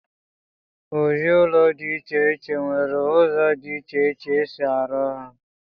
ụdị ụlọ dị iche iche nwere ụzọ dị iche iche e si arụ ha